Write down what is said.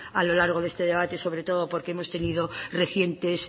a lo largo de este debate sobre todo porque hemos tenido recientes